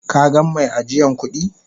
Ka gan mai ajiyan kudi?